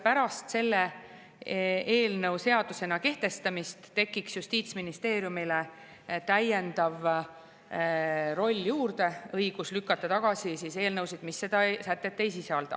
Pärast selle eelnõu seadusena kehtestamist tuleks justiitsministeeriumile juurde veel üks roll: õigus lükata tagasi eelnõusid, mis seda sätet ei sisalda.